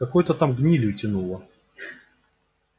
какой-то там гнилью тянуло